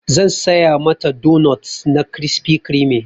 Zan saya mata donot na crispy creame.